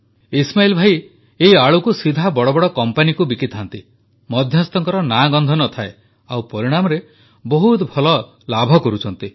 ଇସ୍ମାଇଲ୍ ଭାଇ ଏହି ଆଳୁକୁ ସିଧା ବଡ଼ବଡ଼ କମ୍ପାନୀକୁ ବିକିଥାନ୍ତି ମଧ୍ୟସ୍ଥଙ୍କର ନାଁ ଗନ୍ଧ ନଥାଏ ଆଉ ପରିଣାମରେ ବହୁତ ଭଲ ଲାଭ କରୁଛନ୍ତି